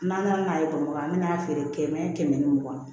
N'an nana n'a ye bamakɔ an bɛna feere kɛmɛ ni mugan